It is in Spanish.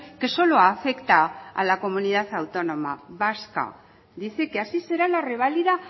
que solo afecta a la comunidad autónoma vasca dice que así será la reválida